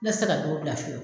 N'a tɛ se k'a jogo bila fiyewu